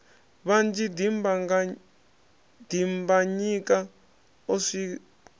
vhanzhi dimbanyika o swi wa